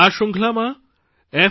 આ શ્રૃંખલામાં f